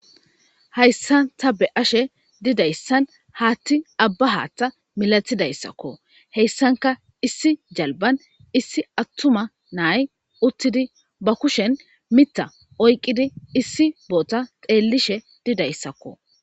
hayssan ta be ashe didayssan haatti abba haatta milatidayssakko heyssanka issi jalban issi attuma naay uttidi ba kushen mitta oyqqidi issi boota xeellishe didayssakko